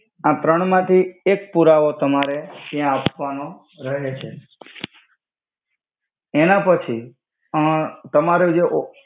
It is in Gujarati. આ ત્રણ માથી એક પુરાવો તમારે ત્યા આપ્વાનો રહે છે એના પછી અ તમારુ જે ઓ